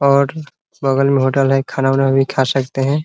और बगल में होटल है खाना उना भी खा सकते हैं ।